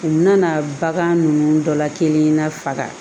U nana bagan ninnu dɔla kelen na faga